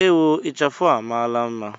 Ewo! Ichafụ a amaala mma.